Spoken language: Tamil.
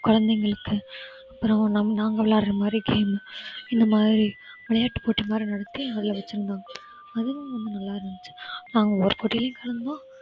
குழந்தைகளுக்கு அப்புறம் நாங்க விளையாடுற மாதிரி game இந்த மாதிரி விளையாட்டு போட்டி மாதிரி நடத்தி அதுல வச்சிருந்தாங்க. அதுவும் வந்து நல்லா இருந்துச்சு